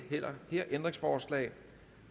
her ændringsforslag